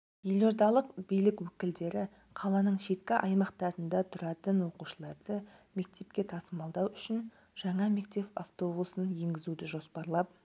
елордалық билік өкілдері қаланың шеткі аймақтарында тұратын оқушыларды мектепке тасымалдау үшін жаңа мектеп автобусын енгізуді жоспарлап